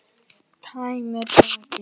Tæmir bakið.